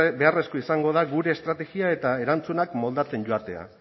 beharrezkoa izango da gure estrategia eta erantzunak moldatzen joatea